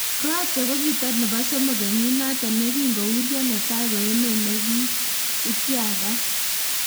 Croatia kokikatar nebo somok kenyit notok yekingo urio netai ko emet ne ityaktaat.